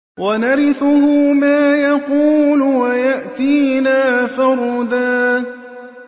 وَنَرِثُهُ مَا يَقُولُ وَيَأْتِينَا فَرْدًا